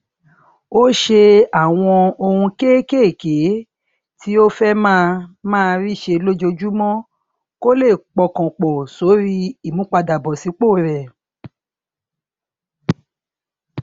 ó ṣe àwọn ohun kéékèèké tí ó fẹ máa máa rí ṣe lójoojúmó kó lè pọkàn pò sórí ìmúpadàbọsípò rẹ